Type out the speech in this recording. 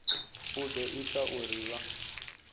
u ḓo ita uri vha